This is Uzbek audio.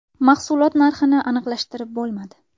Mahsulot narxini aniqlashtirib bo‘lmadi.